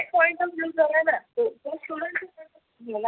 point of view झालाना खुप students